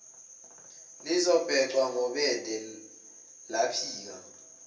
lizobhecwa ngobende laphika